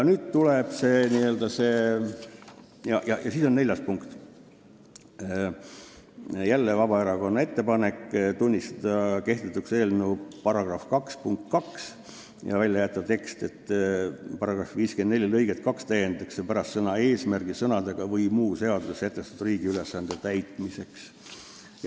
Neljas ettepanek oli jälle Vabaerakonnalt: "Tunnistada kehtetuks eelnõu § 2 punkt 2", st jätta välja tekst "§ 54 lõiget 2 täiendatakse pärast sõna "eesmärgil" sõnadega "või muu seaduses sätestatud riigi ülesande täitmiseks".